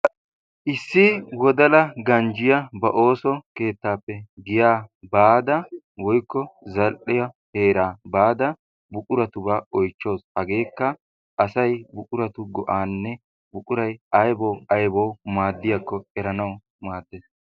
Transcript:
issi wodla ganjjiya ba ooso keettaappe giyaa baada woykko zal'e heeraa baada buquratubaa oychchawusu. hegeekka asay buquratu go'aanne buqurati ay maadiyaakko oychchawusu.